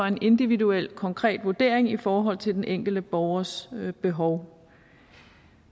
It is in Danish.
en individuel konkret vurdering i forhold til den enkelte borgers behov